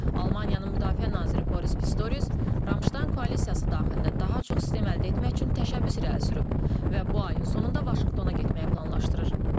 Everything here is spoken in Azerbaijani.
Almaniyanın müdafiə naziri Boris Pistorius Ramştayn koalisiyası daxilində daha çox sistem əldə etmək üçün təşəbbüs irəli sürüb və bu ayın sonunda Vaşinqtona getməyi planlaşdırır.